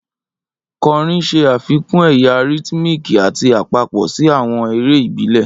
Kọrin ṣe afikun ẹya rhythmic ati apapọ si awọn ere ibile.